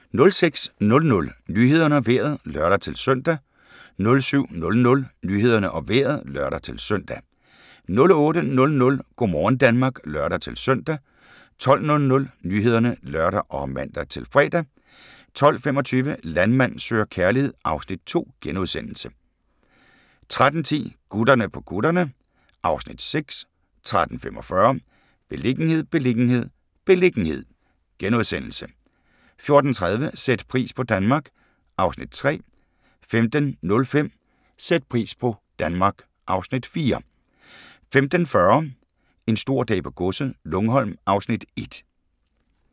06:00: Nyhederne og Vejret (lør-søn) 07:00: Nyhederne og Vejret (lør-søn) 08:00: Go' morgen Danmark (lør-søn) 12:00: Nyhederne (lør og man-fre) 12:25: Landmand søger kærlighed (Afs. 2)* 13:10: Gutterne på kutterne (Afs. 6) 13:45: Beliggenhed, beliggenhed, beliggenhed * 14:30: Sæt pris på Danmark (Afs. 3) 15:05: Sæt pris på Danmark (Afs. 4) 15:40: En stor dag på godset - Lungholm (Afs. 1)